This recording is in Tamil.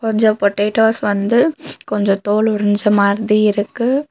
கொஞ்சொ பொட்டேட்டோஸ் வந்து கொஞ்சொ தோல் உறிஞ்ச மாதிரி இருக்கு.